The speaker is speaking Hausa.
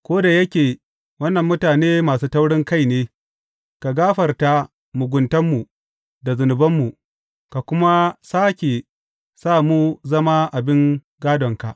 Ko da yake wannan mutane masu taurinkai ne, ka gafarta muguntanmu da zunubanmu, ka kuma sāke sa mu zama abin gādonka.